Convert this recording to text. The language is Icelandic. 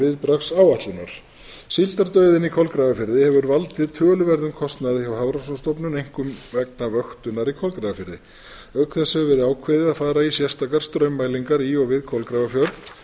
viðbragðsáætlunar síldardauðinn í kolgrafafirði hefur valdið töluverðum kostnaði hjá hafrannsóknastofnun einkum vegna vöktunar í kolgrafafirði auk þess hefur verið ákveðið að fara í sérstakar straummælingar í og við kolgrafafjörð